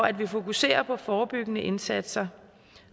at vi fokuserer på forebyggende indsatser